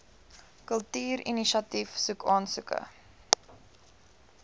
kultuurinisiatief soek aansoeke